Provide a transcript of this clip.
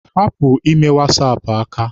Hapụ ime wasaapụ aka!